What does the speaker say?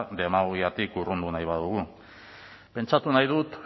demagogiatik urrun nahi badugu pentsatu nahi dut